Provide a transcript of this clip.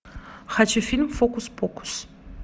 хочу фильм фокус покус